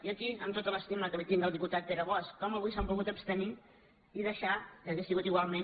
i aquí amb tota l’estima que li tinc al diputat pere bosch com avui s’han pogut abstenir i deixar que hauria sigut igualment